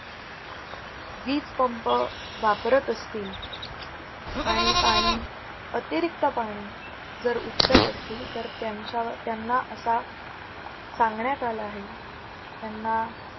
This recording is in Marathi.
वीज पंप वापरत असतील. आणि पाणी अतिरिक्त पाणी जर, उपसत असतील तर, त्याच्यावर त्यांना असा सांगण्यात आलं आहे त्यांना